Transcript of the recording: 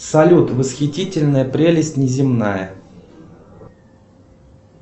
салют восхитительная прелесть неземная